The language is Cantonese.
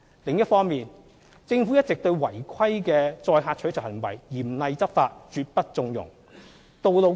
另一方面，政府一直對違規的載客取酬行為嚴厲執法，絕不縱容。